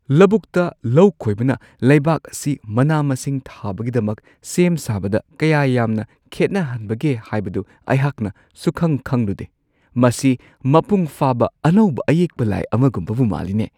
ꯂꯧꯕꯨꯛꯇ ꯂꯧꯈꯣꯏꯕꯅ ꯂꯩꯕꯥꯛ ꯑꯁꯤ ꯃꯅꯥ-ꯃꯁꯤꯡ ꯊꯥꯕꯒꯤꯗꯃꯛ ꯁꯦꯝ ꯁꯥꯕꯗ ꯀꯌꯥ ꯌꯥꯝꯅ ꯈꯦꯠꯅꯍꯟꯕꯒꯦ ꯍꯥꯏꯕꯗꯨ ꯑꯩꯍꯥꯛꯅ ꯁꯨꯛꯈꯪ-ꯈꯪꯂꯨꯗꯦ ꯫ ꯃꯁꯤ ꯃꯄꯨꯡꯐꯥꯕ ꯑꯅꯧꯕ ꯑꯌꯦꯛꯄ ꯂꯥꯏ ꯑꯃꯒꯨꯝꯕꯕꯨ ꯃꯥꯜꯂꯤꯅꯦ !